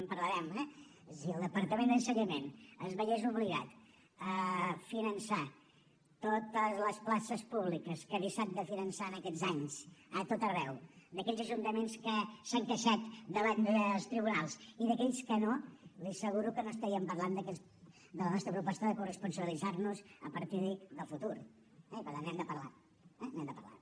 en parlarem eh és a dir si el departament d’ensenyament es veiés obligat a finançar totes les places públiques que ha deixat de finançar en aquests anys a tot arreu d’aquells ajuntaments que s’han queixat davant dels tribunals i d’aquells que no li asseguro que no estaríem parlant de la nostra proposta de corresponsabilitzar nos a partir del futur eh i per tant n’hem de parlar eh n’hem de parlar